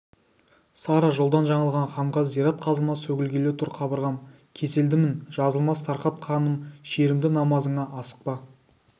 сара жолдан жаңылған ханға зират қазылмас сөгілгелі тұр қабырғам кеселдімін жазылмас тарқат ханым шерімді намазыңа асықпа